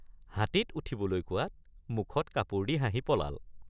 হাতীত উঠিবলৈ কোৱাত মুখত কাপোৰ দি হাঁহি পলাল ।